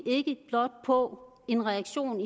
på en reaktion